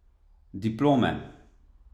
Diplome.